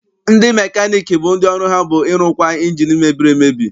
Ndị mekaniiki bụ ndị ọrụ ha bụ ịrụkwa ịnjini mebiri emebi.